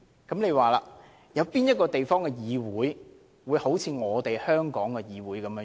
請問有哪個地方的議會像香港的議會這樣？